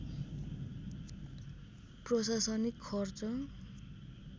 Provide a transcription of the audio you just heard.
प्रशासनिक खर्च